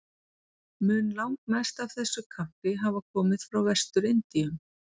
Mun langmest af þessu kaffi hafa komið frá Vestur-Indíum.